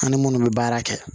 An ni munnu bɛ baara kɛ